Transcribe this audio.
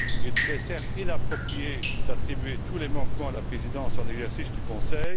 Il serait toutefois inapproprié d'attribuer tous les manquements à la Présidence en exercice du Conseil.